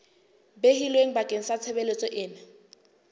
behilweng bakeng sa tshebeletso ena